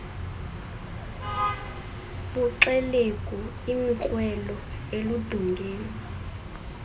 buxelegu imikrwelo erludongeni